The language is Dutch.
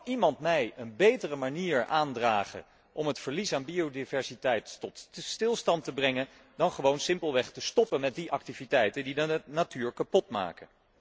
Kan iemand mij een betere manier aandragen om het verlies aan biodiversiteit tot stilstand te brengen dan gewoon simpelweg te stoppen met die activiteiten die de natuur kapot maken?